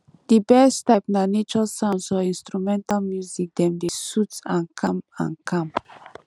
di best type na nature sounds or instrumental music dem dey sooth and calm and calm